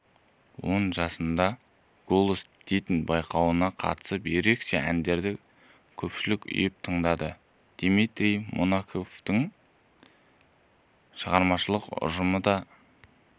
он жасыңда голос діти байқауына қатысып ерекше әндеріңді көпшілік ұйып тыңдады дмитрий монатиктің шығармашылық ұжымы да